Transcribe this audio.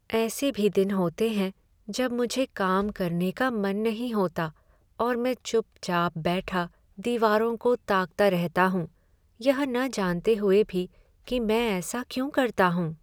ऐसे भी दिन होते हैं जब मुझे काम करने का मन नहीं होता और मैं चुपचाप बैठा दीवारों को ताकता रहता हूँ, यह न जानते हुए भी कि मैं ऐसा क्यों करता हूं।